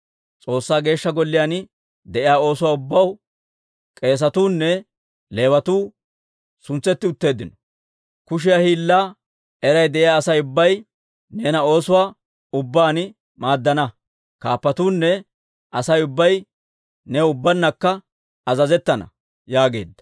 S'oossaa Geeshsha Golliyaan de'iyaa oosuwaa ubbaw k'eesatuu nne Leewatuu suntsetti utteeddino. Kushiyaa hiillaa eray de'iyaa Asay ubbay neena oosuwaa ubbaan maaddana. Kaappatuunne Asay ubbay new ubbabankka azazettana» yaageedda.